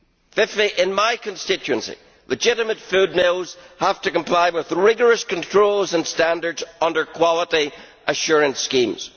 Fifthly, in my constituency legitimate food mills have to comply with rigorous controls and standards under quality assurance schemes.